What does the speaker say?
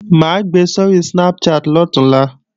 Mà á gbe sóri Snapchat lọ̀túnla